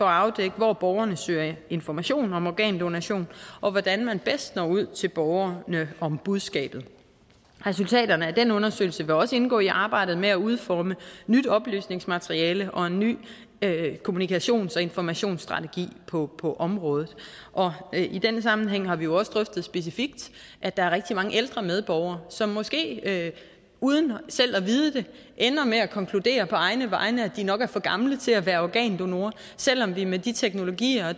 afdække hvor borgerne søger information om organdonation og hvordan man bedst når ud til borgerne om budskabet resultaterne af den undersøgelse vil også indgå i arbejdet med at udforme nyt oplysningsmateriale og en ny kommunikations og informationsstrategi på på området og i den sammenhæng har vi jo også drøftet specifikt at der er rigtig mange ældre medborgere som måske uden selv at vide det ender med at konkludere på egne vegne at de nok er for gamle til at være organdonorer selv om vi med de teknologier og